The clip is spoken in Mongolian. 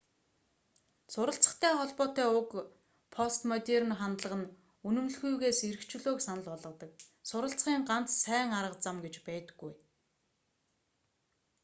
суралцахтай холбоотой уг постмодерн хандлага нь үнэмлэхүйгээс эрх чөлөөг санал болгодог суралцахын ганц сайн арга зам гэж байдаггүй